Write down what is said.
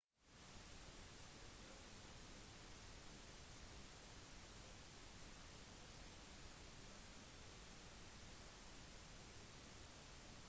dette er når folk reiser til et sted som skiller seg fra deres vanlige hverdag for å finne roen og ha det kjekt